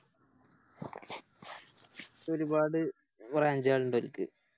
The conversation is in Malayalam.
ഒരുപാട് Branch കളിണ്ടെനിക്ക്